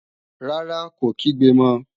Rárá, kò kígbe mọ